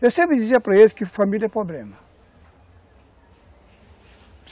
Eu sempre dizia para eles que família é problema.